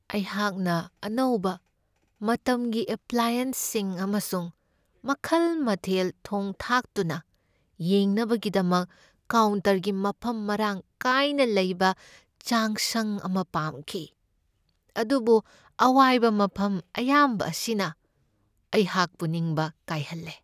ꯑꯩꯍꯥꯛꯅ ꯑꯅꯧꯕ ꯃꯇꯝꯒꯤ ꯑꯦꯄ꯭ꯂꯥꯌꯦꯟꯁꯁꯤꯡ ꯑꯃꯁꯨꯡ ꯃꯈꯜ ꯃꯊꯦꯜ ꯊꯣꯡ ꯊꯥꯛꯇꯨꯅ ꯌꯦꯡꯅꯕꯒꯤꯗꯃꯛ ꯀꯥꯎꯟꯇꯔꯒꯤ ꯃꯐꯝ ꯃꯔꯥꯡ ꯀꯥꯏꯅ ꯂꯩꯕ ꯆꯥꯛꯁꯪ ꯑꯃ ꯄꯥꯝꯈꯤ, ꯑꯗꯨꯕꯨ ꯑꯋꯥꯏꯕ ꯃꯐꯝ ꯑꯌꯥꯝꯕ ꯑꯁꯤꯅ ꯑꯩꯍꯥꯛꯄꯨ ꯅꯤꯡꯕ ꯀꯥꯏꯍꯜꯂꯦ꯫